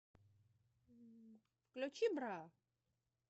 включи бра